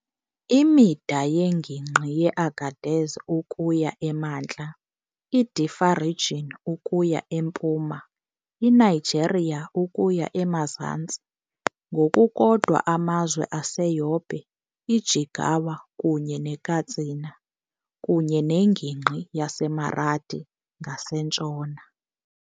Imida yeNgingqi yeAgadez ukuya emantla, iDiffa Region ukuya empuma, iNigeria ukuya emazantsi, ngokukodwa, amazwe aseYobe, iJigawa kunye neKatsina, kunye neNgingqi yaseMaradi ngasentshona.